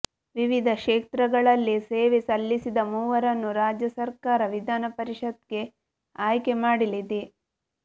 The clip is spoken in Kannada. ವಿವಿಧ ಕ್ಷೇತ್ರಗಳಲ್ಲಿ ಸೇವೆ ಸಲ್ಲಿಸಿದ ಮೂವರನ್ನು ರಾಜ್ಯ ಸರ್ಕಾರ ವಿಧಾನಪರಿಷತ್ಗೆ ಆಯ್ಕೆ ಮಾಡಲಿದೆ